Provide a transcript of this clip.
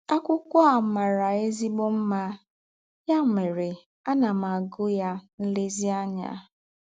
Ákwụ́kwọ́ à màrà èzí̄gbọ̀ mmá, yà mẹ́rè àná m ágụ́ yá nlèzíànyá.